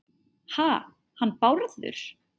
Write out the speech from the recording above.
Ha- hann Bárður?